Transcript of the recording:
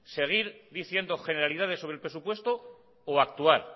seguir diciendo generalidades sobre el presupuesto o actuar